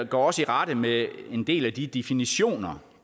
går også i rette med en del af de definitioner